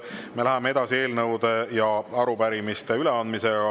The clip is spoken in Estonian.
Me läheme edasi eelnõude ja arupärimiste üleandmisega.